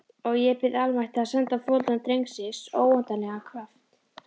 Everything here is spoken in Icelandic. Og ég bið almættið að senda foreldrum drengsins óendanlegan kraft.